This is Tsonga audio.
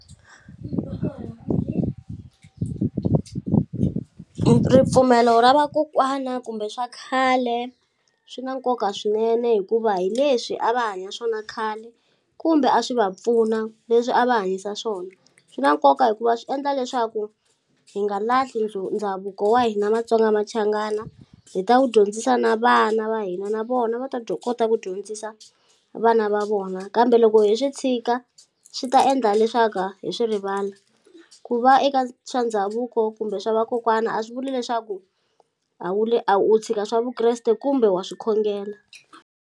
Ripfumelo ra vakokwana kumbe swa khale swi na nkoka swinene hikuva hi leswi a va hanya swona khale kumbe a swi va pfuna leswi a va hanyisa swona swi na nkoka hikuva swi endla leswaku hi nga lahli ndhavuko wa hina Matsonga Machangana hi ta ku dyondzisa na vana va hina na vona va ta kota ku dyondzisa vana va vona kambe loko hi swi tshika swi ta endla leswaka hi swi rivala ku va eka swa ndhavuko kumbe swa vakokwana a swi vuli leswaku a wu le u tshika swa Vukreste kumbe wa swi khongela.